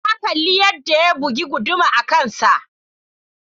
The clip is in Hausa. Na kalli yadda ya bugi guduma a kansa.